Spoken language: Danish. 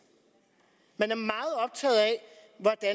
man